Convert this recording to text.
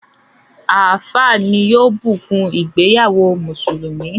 Àfááà ní yóò bùkún ìgbéyàwó mùsùlùmí.